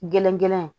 Gerengelen